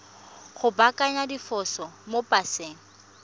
go baakanya diphoso mo paseng